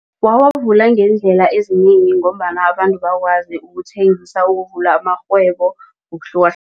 Wawavula ngeendlela ezinengi ngombana abantu bakwazi ukuthengisa ukuvula amarhwebo